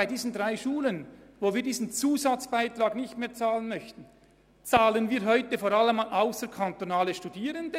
Heute bezahlen wir diesen Zusatzbeitrag vor allem für ausserkantonale Studierende.